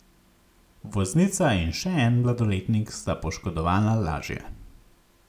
Voznica in še en mladoletnik sta poškodovana lažje.